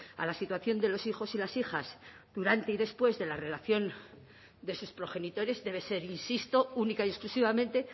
a la situación de los hijos y las hijas durante y después de la relación de sus progenitores debe ser insisto única y exclusivamente